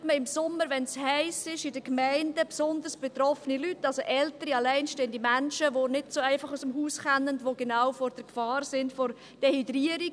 Dort sucht man im Sommer, wenn es heiss ist, in den Gemeinden besonders betroffene Leute auf, also ältere alleinstehende Menschen, die nicht so einfach aus dem Haus kommen, die genau von der Gefahr von Dehydrierung betroffen sind.